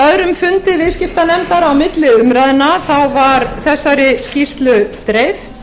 á öðrum fundi viðskiptanefndar á milli umræðna var þessari skýrslu dreift